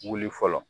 Wuli fɔlɔ